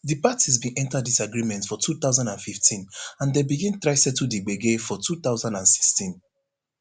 di parties bin enta disagreement for two thousand and fifteen and dem begin try settle di gbege for two thousand and sixteen